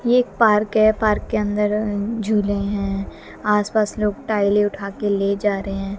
यह एक पार्क है पार्क के अंदर झूले हैं आसपास लोग टाइलें उठा के ले जा रहे हैं।